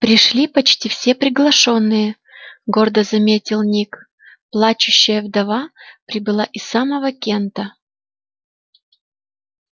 пришли почти все приглашённые гордо заметил ник плачущая вдова прибыла из самого кента